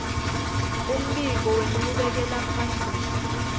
umbiko wenchubekela phambili